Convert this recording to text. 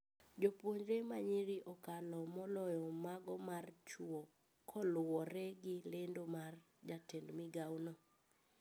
Jopuonjre manyiri okalo moloyo mago mar chuo koluore gi lendo mar jatend migao no